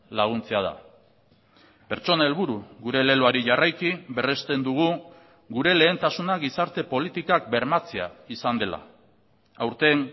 laguntzea da pertsona helburu gure leloari jarraiki berresten dugu gure lehentasuna gizarte politikak bermatzea izan dela aurten